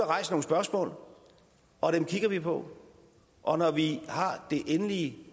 rejst nogle spørgsmål og dem kigger vi på og når vi har det endelige